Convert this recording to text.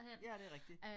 Ja det rigtig